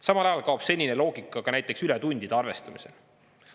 Samal ajal kaob senine loogika ka näiteks ületundide arvestamisel.